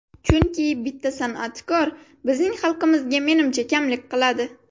Chunki bitta san’atkor bizning xalqimizga menimcha kamlik qiladi.